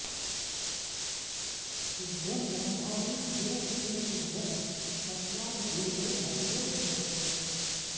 तुभ्यं ब्रह्माणि गिर इन्द्र तुभ्यं सत्रा दधिरे हरिवो जुषस्व